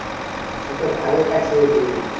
উ তো ভালোই কাজ পেয়েছে।